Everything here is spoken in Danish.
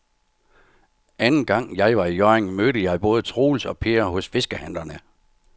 Anden gang jeg var i Hjørring, mødte jeg både Troels og Per hos fiskehandlerne.